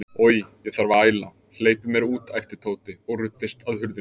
Oj, ég þarf að æla, hleypið mér út æpti Tóti og ruddist að hurðinni.